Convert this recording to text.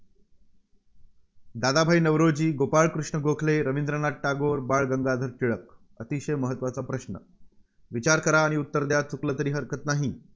दादभाई नौरोजी, गोपाळकृष्ण गोखले, रवींद्रनाथ टागोर, बाळ गंगाधर टिळक. अतिशय महत्त्वाचा प्रश्न. विचार करा आणि उत्तर द्या. चुकलं तरी हरकत नाही.